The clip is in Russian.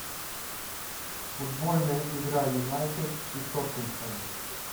футбольная игра юнайтед и тоттенхэм